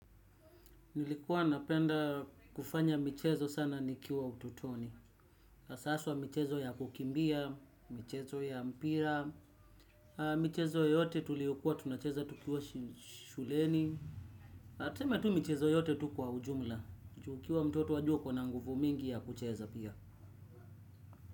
Nilikuwa napenda kufanya michezo sana nikiwa ututoni. Haswa michezo ya kukimbia, michezo ya mpira. Michezo yote tuliyokuwa tunacheza tukiwa shuleni. Tuseme tu michezo yote tu kwa ujumla. Ju ukiwa mtoto wajua uko na nguvu mingi ya kucheza pia.